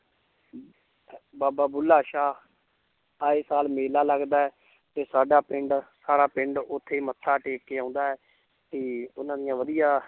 ਬਾਬਾ ਬੁੱਲਾ ਸ਼ਾਹ ਆਏ ਸਾਲ ਮੇਲਾ ਲੱਗਦਾ ਹੈ ਤੇ ਸਾਡਾ ਪਿੰਡ ਸਾਰਾ ਪਿੰਡ ਉੱਥੇ ਮੱਥਾ ਟੇਕ ਕੇ ਆਉਂਦਾ ਹੈ ਤੇ ਉਹਨਾਂ ਦੀਆਂ ਵਧੀਆ